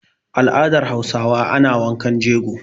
Al'adar Hausa ana wankan jego.